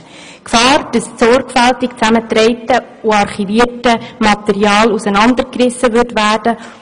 Die Gefahr, dass das sorgfältig zusammengetragene und archivierte Material auseinandergerissen würde,